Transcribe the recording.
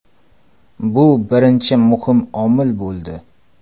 Bu birinchi muhim omil bo‘ldi.